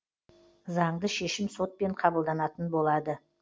заңды шешім сотпен қабылданатын болады